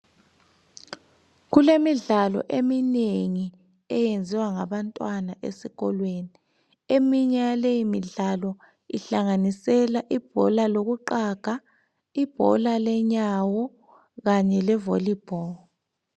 Kulemidlalo eminengi, eyenziwa ngabantwana esikolweni. Eminye yaleyi midlalo, ihlanganisela, ibhola lokuqaga, ibhola lenyawo, kanye levolleyball.